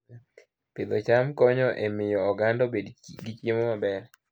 Pidho cham konyo e miyo oganda obed gi chiemo maber